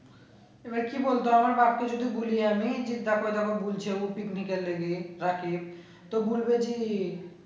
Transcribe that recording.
এবার কি বলতে হবে বাপ কে যদি বুলিয়ে আনি যে দেখো যাবো বলছে ও picnic এ নেবে রাখি তো বলবে যে